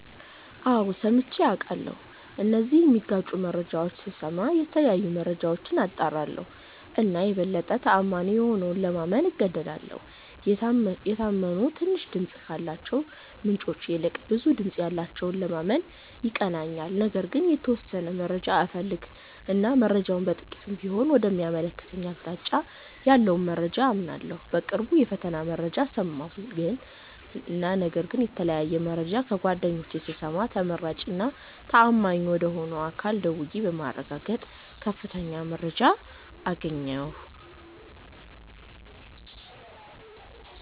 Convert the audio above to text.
አዎ ሠምቼ አቃለሁ እነዚህን ሚጋጩ መረጃዎች ስስማ የተለያዩ መረጃዎች አጣራለሁ እና የበለጠ ተአማኒ የሆነውን ለማመን እገደዳለሁ። የታመኑ ትንሽ ድምፅ ካላቸው ምንጮች ይልቅ ብዙ ድምጽ ያለውን ለማመን ይቀለኛል። ነገር ግን የተወሠነ መረጃ እፈልግ እና መረጃው በጥቂቱም ቢሆን ወደ ሚያመለክተኝ አቅጣጫ ያለውን መረጃ አምናለሁ። በቅርቡ የፈተና መረጃ ሠማሁ እና ነገር ግን የተለያየ መረጃ ከጓደኞቼ ስሰማ ተመራጭ እና ተአማኝ ወደ ሆነ አካል ደውዬ በማረጋገጥ ትክክለኛ መረጃ አገኘሁ።